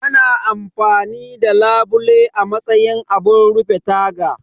Ana amfani da labule a matsayin abun rufe taga